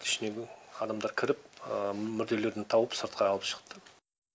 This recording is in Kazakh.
ішінен адамдар кіріп мүрделерін тауып сыртқа алып шықты